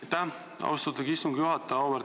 Aitäh, austatud istungi juhataja!